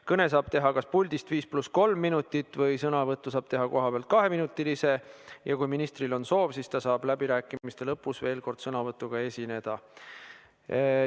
Kõne saab teha kas puldist 5 + 3 minutit või sõnavõtu saab teha kohapealt kaheminutilise, ja kui minister soovib, siis ta saab läbirääkimiste lõpus veel kord sõnavõtuga esineda.